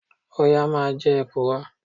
Ọ̀yà máa ń jẹ èkùrọ́.